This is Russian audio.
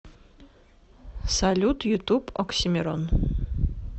салют ютуб оксимирон